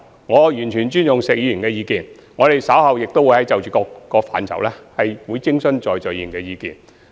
我完全尊重石議員的意見，稍後亦會就各個範疇徵詢在座議員的意見。